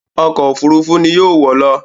Ọkọ̀ òfurufú ni yóò wọ̀ lọ